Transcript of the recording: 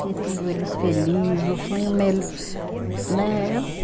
Ver tudo eles feliz, o sonho, né?